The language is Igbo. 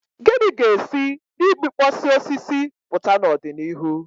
Gịnị ga-esi na igbukpọsị osisi pụta n'ọdịnihu?